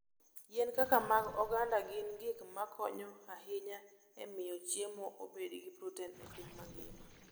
Yien kaka mag oganda gin gik makonyo ahinya e miyo chiemo obed gi protein e piny mangima.